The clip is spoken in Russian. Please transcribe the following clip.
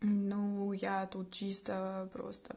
ну я тут чисто просто